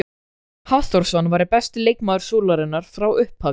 Hafþórsson væri besti leikmaður Súlunnar frá upphafi?